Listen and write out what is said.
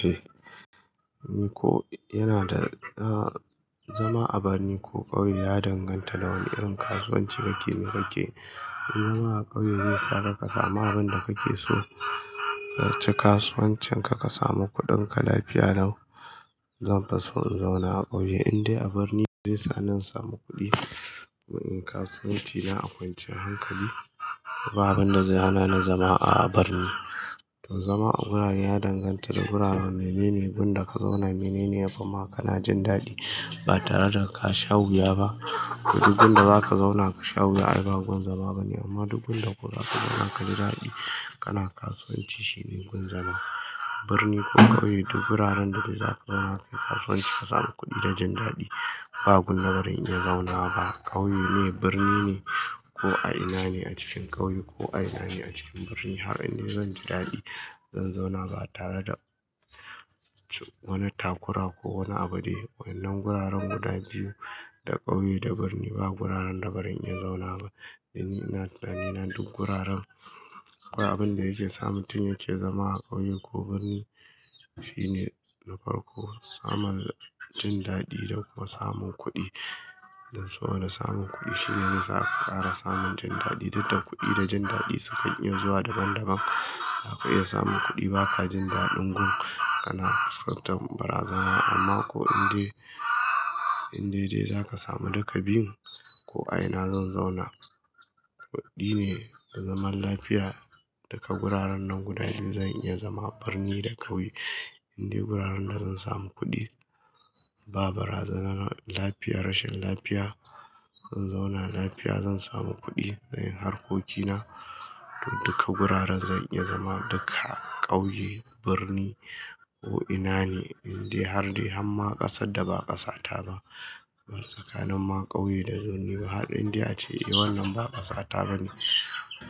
Eh, ni ko yana da, ah, zama a birni ko ƙauye ya danganta da wanne irin kasuwanci kake miƙa ke. In zama a ƙauye zai sa ka samu abin da kake so. Ka ci kasuwancin ka, ka samu kuɗin ka, lafiya lau. Zan fish in zauna a ƙauye inda a birni zai sani in samu kuɗi. Kasuwanci na akwanciyan hankali. Babu abin da zai hana na zama a birni. To zama a gurare ya danganta da guraren. Menene gun da ka zauna, menene ya fi ma ka na jin daɗi ba tare da ka sha wuya ba. To duk gunda da zaka zauna ka sha wuya ai ba gun zama bane amma duk gunda da kuka zauna ka ji daɗi, kana kasuwanci shine gun zama. Birni ko ƙauye duk guraren da za ka zauna kai kasuwanci ka samu kuɗi da jin daɗi ba gurin da baran iya zaunawaba. Ƙauye ne, birni ne ko a ina ne a cikin ƙauye ko a ina ne a cikin birni har in ni zan ji daɗi zan zauna ba tare da wani takura ko wani abu de. Waɗannan guraren guda biyu, da ƙauye da birni, ba guraren da bari in ya zauna ba. Don ni a tunanin duk guraren ko abin da yake samuntin yake zama a ƙauye ko birni shine na farko samun jin daɗi don kuma samun kuɗi. Don saboda samun kuɗi shine yasa aka ƙara samun jin daɗi. Duk da kuɗi da jin daɗi sukan iya zuwa daban daban. Za ka iya samun kuɗi ba ka jin daɗin gun kana, kan fuskantar bara zana amma ko inda, inda dai za ka sami duka biyun ko a ina zan zauna. Kudi ne zaman lafiya daga guraren nan guda biyun zan iya zama, birni da ƙauye. Inde guraren da zan samu kuɗi ba bara zana na lafiya, rashin lafiya. In zauna lafiya zan samu kuɗi, zan yi harkokina. Duk guraren zan iya zama dukka, ƙauye, birni ko ina ne indai har dai har ma ƙasar da ba ƙasata ba. Tsakanin ma ƙauye da birni, har indai ce eh wannan ba ƙasata bane.